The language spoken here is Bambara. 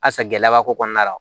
A san gɛlɛya b'a ko kɔnɔna na